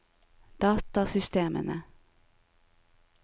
datasystemene